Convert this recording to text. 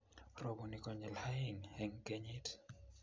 Roboni konyel oeng'eng'kenyit